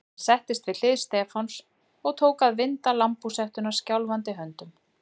Hann settist við hlið Stefáns og tók að vinda lambhúshettuna skjálfandi höndum.